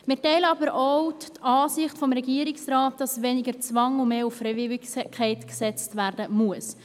Wir teilen aber auch die Ansicht des Regierungsrates, dass weniger auf Zwang und mehr auf Freiwilligkeit gesetzt werden muss.